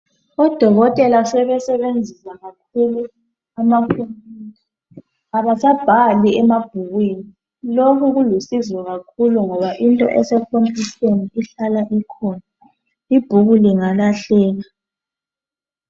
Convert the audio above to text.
Odokotela sebesebenzisa kakhulu amakhompuyutha. Abasabhali emabhukwini lokhu kulusizo kakhulu ngoba into esekhomputheni ihlala ikhona. Ibhuku lingalahleka.